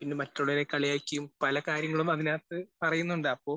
പിന്നെ മറ്റുള്ളവരെ കളിയാക്കിയും പല കാര്യങ്ങളും അതിനകത്ത് പറയുന്നുണ്ട്. അപ്പോ